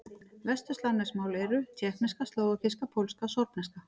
Vesturslavnesk mál eru: tékkneska, slóvakíska, pólska, sorbneska.